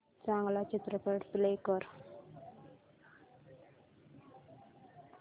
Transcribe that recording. चांगला चित्रपट प्ले कर